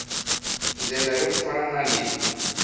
ndlela yo fana na leyi